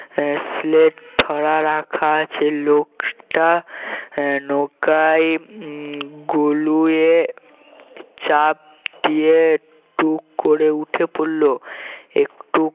আহ ধরা রাখা আছে লোকটা আহ নৌকায় উম গলুয়ে চাপ দিয়ে টুক করে উঠে পড়লো একটু